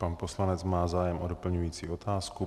Pan poslanec má zájem o doplňující otázku.